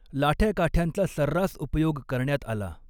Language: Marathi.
लाठ्या काठ्यांचा सर्रास उपयोग करण्यात आला.